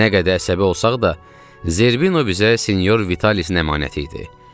Nə qədər əsəbi olsaq da, Zerbino bizə Sinyor Vitalisdən əmanəti idi.